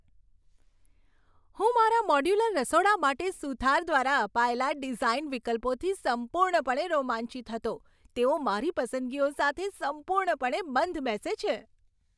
હું મારા મોડ્યુલર રસોડા માટે સુથાર દ્વારા અપાયેલા ડિઝાઈન વિકલ્પોથી સંપૂર્ણપણે રોમાંચિત હતો. તેઓ મારી પસંદગીઓ સાથે સંપૂર્ણપણે બંધ બેસે છે!